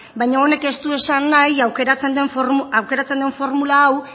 baina honek ez du esan nahi aukeratzen den formula hau